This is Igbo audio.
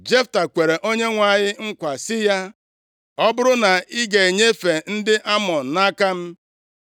Jefta kwere Onyenwe anyị nkwa sị ya, “Ọ bụrụ na ị ga-enyefe ndị Amọn nʼaka m,